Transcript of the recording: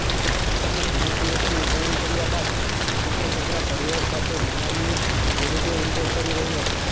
પોતાના જન્મદિવસની ઉજવણી કર્યા બાદ પ્રિયંકા ચોપરા પરિવાર સાથે મિયામીમાં હોલીડે એન્જોય કરી રહી હતી